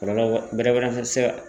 Kɔlɔlɔ bɛrɛ fana tɛ se ka